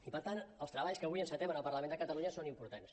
i per tant els treballs que avui encetem en el parlament de catalunya són importants